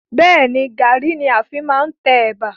Bẹ́ẹ̀ni, Garri ni a fi máa ń tẹ Ẹ̀bà.